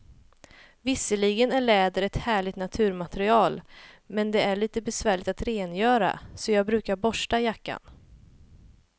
Visserligen är läder ett härligt naturmaterial, men det är lite besvärligt att rengöra, så jag brukar borsta jackan.